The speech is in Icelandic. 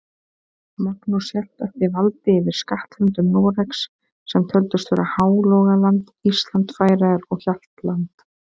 Magnús hélt eftir valdi yfir skattlöndum Noregs, sem töldust vera Hálogaland, Ísland, Færeyjar og Hjaltland.